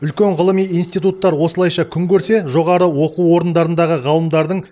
үлкен ғылыми институттар осылайша күн көрсе жоғары оқу орындарындағы ғалымдардың